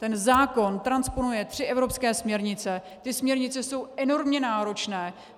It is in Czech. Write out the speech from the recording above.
Ten zákon transponuje tři evropské směrnice, ty směrnice jsou enormně náročné.